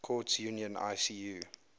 courts union icu